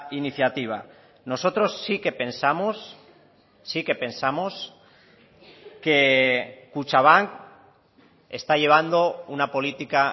iniciativa nosotros sí que pensamos sí que pensamos que kutxabank está llevando una política